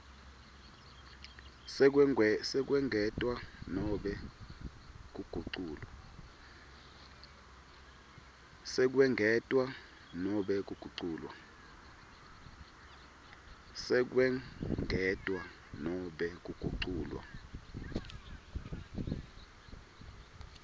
sekwengetwa nobe kuguculwa